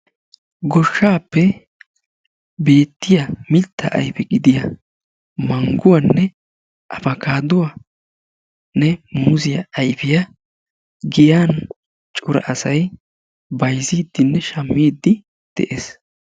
Goshshaappe beettiyaa mittaa ayfe gidiyaa mangguwannae afakaaduwaanne muuzziyaa ayfiyaa giyaan cora asay bayzziidinne shaammidi de'ees.